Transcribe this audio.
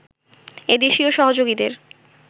এদেশীয় সহযোগীদের